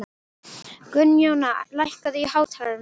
Gunnjóna, lækkaðu í hátalaranum.